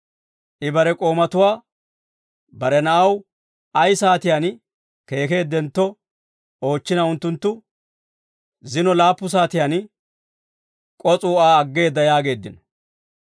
I bare k'oomatuwaa bare na'aw ay saatiyaan keekeeddentto oochchina unttunttu, «Zino laappu saatiyaan k'oos'uu Aa aggeedda» yaageeddino.